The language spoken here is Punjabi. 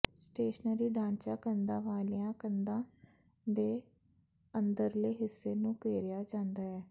ਸਟੇਸ਼ਨਰੀ ਢਾਂਚਾ ਕੰਧਾ ਵਾਲੀਆਂ ਕੰਧਾਂ ਦੇ ਅੰਦਰਲੇ ਹਿੱਸੇ ਨੂੰ ਘੇਰਿਆ ਜਾਂਦਾ ਹੈ